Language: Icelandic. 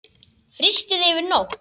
Frystið yfir nótt.